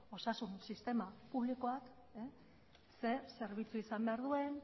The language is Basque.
osasun sistema publikoak zer zerbitzu izan behar duen